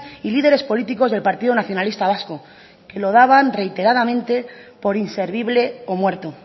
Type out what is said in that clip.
y líderes políticos del partido nacionalista vasco que lo daban reiteradamente por inservible o muerto